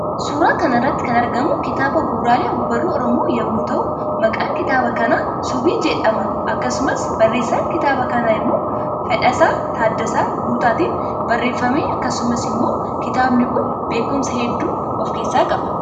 Suuraa kanarratti kan argamu kitaaba bu'uraalee ogbarruu oromoo yommuu ta'uu maqaan kitaaba kana subii jedhama akkasumas barreessaan kitaaba kana immoo Fedhasa Taaddasaa Guutatiin barreeffame akkasumas immoo kitaabni Kun beekumsa hedduu of keessa qaba.